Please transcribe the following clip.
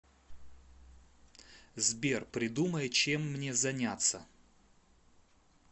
сбер придумай чем мне заняться